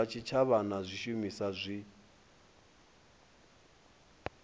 zwa tshitshavha na zwishumiswa zwi